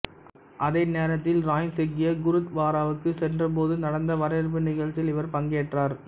அதே நேரத்தில் ராயின் சீக்கிய குருத்வாராவுக்கு சென்றபோது நடந்த வரவேற்பு நிகழ்ச்சியில் இவர் பங்கேற்றார்